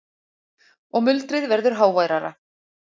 Og muldrið verður háværara.